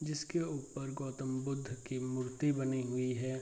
जिसके ऊपर गौतम बुद्ध की मूर्ति बनी हुई है।